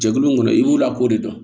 Jɛkulu in kɔnɔ i b'u lakodi